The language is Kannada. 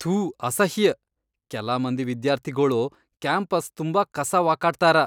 ಥೂ ಅಸಹ್ಯ್, ಕೆಲ ಮಂದಿ ವಿದ್ಯಾರ್ಥಿಗೊಳು ಕ್ಯಾಂಪಸ್ ತುಂಬಾ ಕಸಾ ವಕಾಟ್ತಾರ.